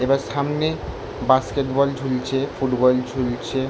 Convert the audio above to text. এইবার সামনে basketball ঝুলছে। ফুটবল ঝুলছে ।